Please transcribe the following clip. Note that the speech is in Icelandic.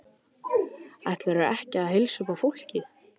Ætlarðu ekki að heilsa upp á fólkið?